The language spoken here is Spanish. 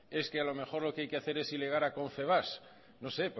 es que a lo mejor lo que hay que hacer es ilegar a confebask no sé